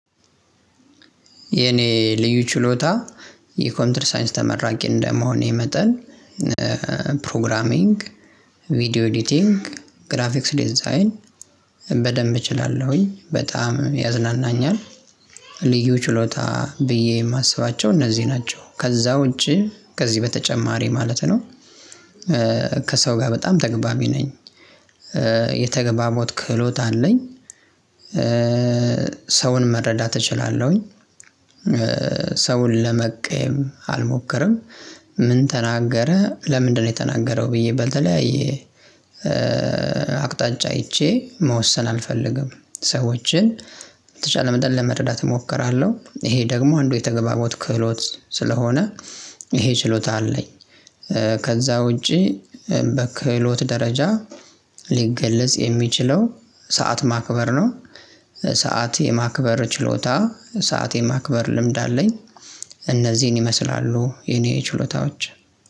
የኔ ልዩ ችሎታ የኮንፒተር ሳይንስ ተመራቂ እንደመሆኔ መጠን። ፕሮግራሚንግ ቪዲዮ ኤዲቲንግ ግራፊክስ ዲዛይን በደንብ እችላለሁኝ በጣም ያዝናናኛል። ልዩ ችሎታ ብዬ የማስባቸው እነዚህ ናቸው ከዛ ውጪ ከዚህ በተጨማሪ ማለት ነው። ከሰው ጋር በጣም ተግባቢ ነኝ። የተገባቦት ክህሎት አለኝ። ሰውን መረዳት እችላለሁኝ። ሰውን ለመቀየም አልሞክርም። ምን ተናገረ ለምንድነው የተናገረው ብዬ በተለያዬ አቅጣጫ አይቼ መወሰን አልፈልግም። ሰዎችን በተቻለ መጠን ለመረዳት እሞክራለሁ። ይሄ ደግሞ አንዱ የተግባቦት ክህሎት ስለሆነ ይሄ ችሎታ አለኝ። ከዛ ውጪ በክህሎት ደረጃ ሊገለጽ የሚችለው ሰዓት ማክበር ነው። ሰዓት የማክበር ችሎታ ሰዓት የማክበር ልምድ አለኝ። እነዚህን ይመስላሉ የኔ ችሎታዎች።